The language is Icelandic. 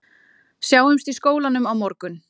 Sjáumst í skólanum á morgun